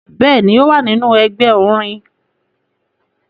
Bẹẹni, o wa ninu ẹgbẹ orin